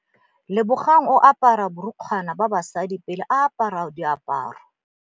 Lebogang o apara borukgwana ba basadi pele a apara diaparô.